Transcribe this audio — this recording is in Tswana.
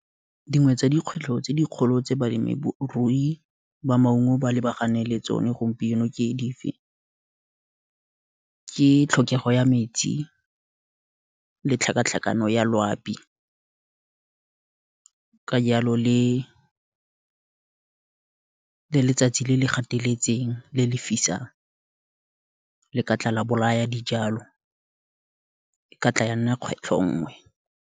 Dingwe tsa dikgwetlho tse dikgolo tse balemirui ba maungo ba lebagane le tsone gompieno ke tlhokego ya metsi, le tlhakatlhakano ya loapi, ka jalo le letsatsi le le ga eteletseng, le le fisang, le ka tla la bolaya dijalo, e ka tla ya nna kgwetlho nngwe.